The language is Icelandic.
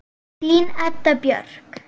Þín Edda Björk.